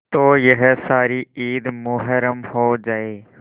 तो यह सारी ईद मुहर्रम हो जाए